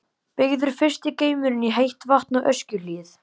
Byggður fyrsti geymirinn fyrir heitt vatn á Öskjuhlíð.